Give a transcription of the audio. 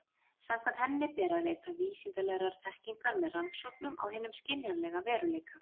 Samkvæmt henni ber að leita vísindalegrar þekkingar með rannsóknum á hinum skynjanlega veruleika.